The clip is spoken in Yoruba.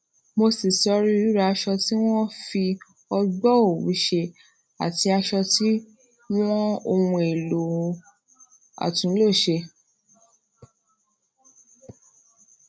mo ṣí sórí ríra aṣọ tí wón fi ogbò owu ati aso tí wón ohun èlò àtúnlò se